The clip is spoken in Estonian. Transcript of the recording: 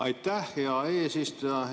Aitäh, hea eesistuja!